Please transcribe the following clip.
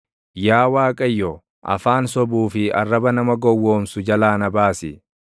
Yaa Waaqayyo, afaan sobuu fi arraba nama gowwoomsu jalaa na baasi.